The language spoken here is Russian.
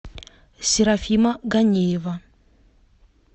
серафима ганеева